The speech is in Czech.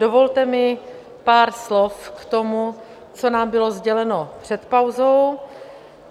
Dovolte mi pár slov k tomu, co nám bylo sděleno před pauzou.